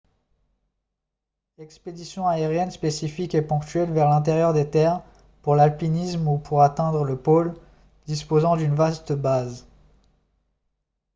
expéditions aériennes spécifiques et ponctuelles vers l'intérieur des terres pour l'alpinisme ou pour atteindre le pôle disposant d'une vaste base